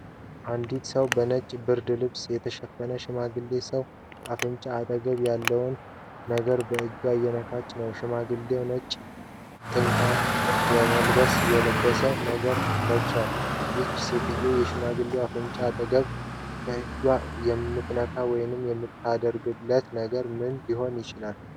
ንዲት ሰው በነጭ ብርድ ልብስ የተሸፈነ ሽማግሌ ሰው አፍንጫ አጠገብ ያለውን ነገር በእጇ እየነካች ነው። ሽማግሌው ነጭ ጥምጣም የመሰለ ነገር ለብሷል። ይህች ሰውዬ የሽማግሌውን አፍንጫ አጠገብ በእጇ የምትነካው ወይም የምታደርገው ነገር ምን ሊሆን ይችላል?